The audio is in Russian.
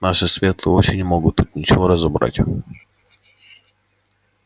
наши светлые очи не могут тут ничего разобрать